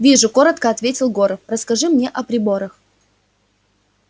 вижу коротко ответил горов расскажи мне о приборах